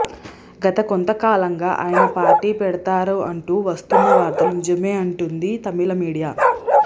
గత కొంత కాలంగా ఆయన పార్టీ పెడతారు అంటూ వస్తున్న వార్తలు నిజమే అంటుంది తమిళ మీడియా